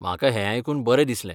म्हाका हें आयकून बरें दिसलें.